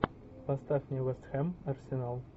поставь мне вест хэм арсенал